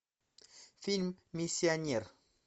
фильм миссионер